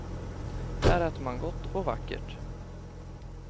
Här äter man gott och vackert.